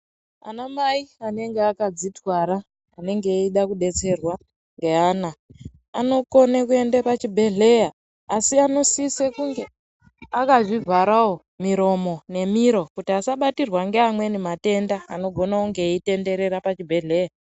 Anamai anenge akadzitwara anenge eida kudetserwa ngeana, anokone kuende pachibhedhleya, Asi anosise kunge akazvivharawo miromo nemiro kuti asabatirwa ngeamweni matenda anogona kunge eyitenderera pachibhedhleya.